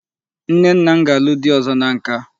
Nne nna m ga-alụ di ọzọ na nka.